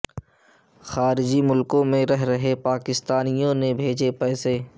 خارجی ملکوں میں رہ رہے پاکستانیوں نے بھیجے پیسے